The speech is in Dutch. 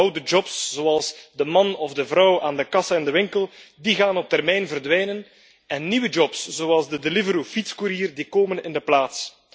Oude jobs, zoals de man of de vrouw aan de kassa in de winkel, gaan op termijn verdwijnen en nieuwe jobs, zoals de Deliveroo fietskoerier, komen in de plaats.